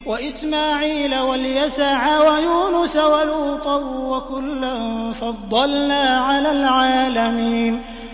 وَإِسْمَاعِيلَ وَالْيَسَعَ وَيُونُسَ وَلُوطًا ۚ وَكُلًّا فَضَّلْنَا عَلَى الْعَالَمِينَ